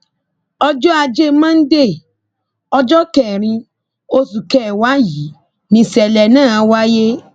ọjọ ajé mọ́ńdeè ọjọ kẹrin oṣù kẹwàá yìí nìṣẹlẹ náà wáyé